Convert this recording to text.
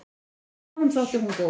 Honum þótti hún góð.